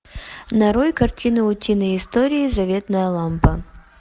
нарой картину утиные истории заветная лампа